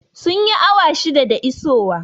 Sun yi awa shida da isowa